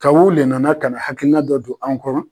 Ta wu le nana ka na hakilina dɔ don anw kɔnɔ.